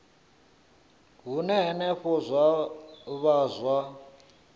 hune henefho zwa vha zwa